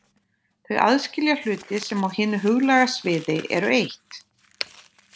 Þau aðskilja hluti sem á hinu huglæga sviði eru eitt.